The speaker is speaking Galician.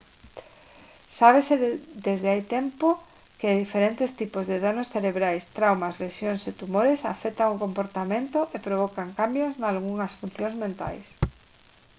sábese desde hai moito tempo que diferentes tipos de danos cerebrais traumas lesións e tumores afectan o comportamento e provocan cambios nalgunhas funcións mentais